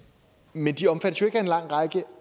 men de omfattes jo ikke af en lang række